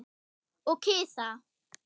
Og kisa.